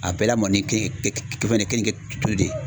A bɛɛ lamɔni kenike de ye.